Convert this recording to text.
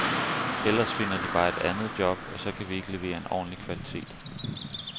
Ellers finder de bare et andet job, og så kan vi ikke levere en ordentlig kvalitet.